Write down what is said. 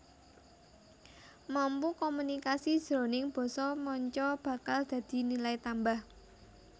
Mampu komunikasi jroning basa manca bakal dadi nilai tambah